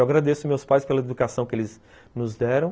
Eu agradeço meus pais pela educação que eles nos deram.